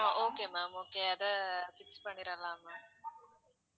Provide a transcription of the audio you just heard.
அஹ் okay ma'am okay அத fix பண்ணிடலாம் ma'am